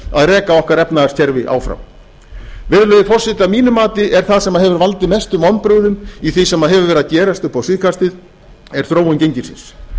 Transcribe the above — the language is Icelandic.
að reka okkar efnahagskerfi áfram virðulegi forseti að mínu mati er það sem hefur valdið mestum vonbrigðum í því sem hefur verið að gerast upp á síðkastið er þróun gengisins